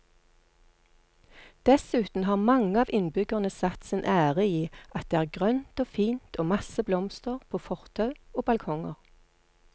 Dessuten har mange av innbyggerne satt sin ære i at det er grønt og fint og masse blomster på fortau og balkonger.